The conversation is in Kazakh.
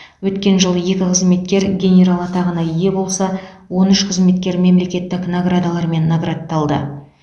өткен жылы екі қызметкер генерал атағына ие болса он үш қызметкер мемлекеттік наградалармен наградталды